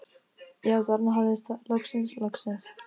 Já, þarna hafðist það, loksins, loksins.